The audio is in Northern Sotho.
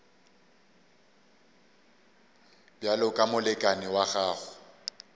bjalo ka molekane wa gago